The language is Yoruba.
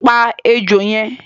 Pa ejò yẹn!